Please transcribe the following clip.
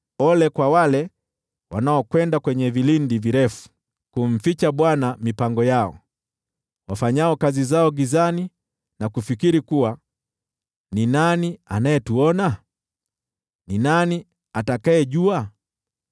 Ole kwa wale wanaokwenda kwenye vilindi virefu kumficha Bwana mipango yao, wafanyao kazi zao gizani na kufikiri, “Ni nani anayetuona? Ni nani atakayejua?”